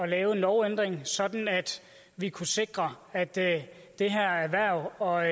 lave en lovændring sådan at vi kunne sikre at det det her erhverv og